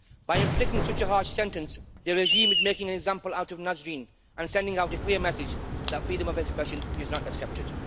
By inflicting such a harsh sentence, the regime is making an example out of Nasrin and sending out a clear message that freedom of expression is not accepted.